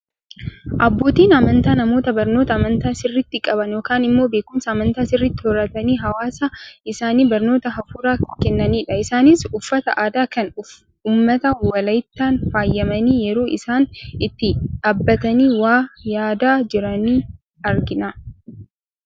Abbootiin amantaa, namoota barnoota amantaa sirriitti qaban yookaan immoo beekumsa amantaa sirriitti horatanii hawaasa isaaniif barnoota hafuuraa kennanidha. Isaanis uffata aadaa kan uummata walaayitaan faayamanii yeroo isaan itti dhaabbatanii waa yaadaa jiran argina.